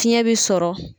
Fiɲɛ bɛ sɔrɔ